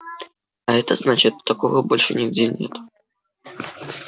а это значит такого больше нигде нет